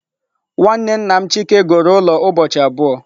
Nwanne nna m Chike goro ulo ubochi abuo.